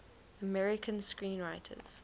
american screenwriters